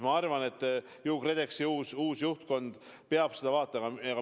Ma arvan, et KredExi uus juhtkond peab seda vaatama.